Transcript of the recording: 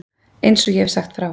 Eins og ég hef sagt frá.